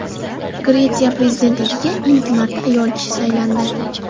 Gretsiya prezidentligiga ilk marta ayol kishi saylandi.